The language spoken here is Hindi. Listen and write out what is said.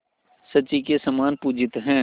शची के समान पूजित हैं